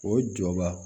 O jɔba